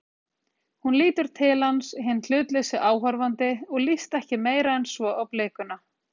Hún lítur til hans, hinn hlutlausi áhorfandi, og líst ekki meira en svo á blikuna.